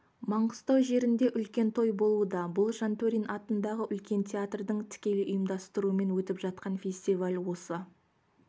маңғыстау жерінде үлкен той болуда бұл жантөрин атындағы үлкен театрдың тікелей ұйымдастыруымен өтіп жатқан фестиваль осы